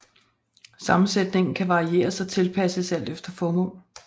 Sammensætningen kan varieres og tilpasses alt efter formål